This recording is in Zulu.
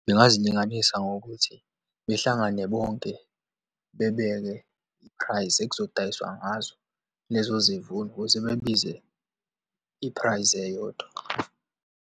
Ngingazilinganisa ngokuthi behlangane bonke, bebeke i-price ekuzodayiswa ngazo lezo zivuno ukuze bebize i-price eyodwa.